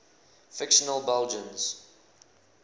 fictional belgians